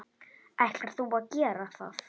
Ætlar þú að gera það?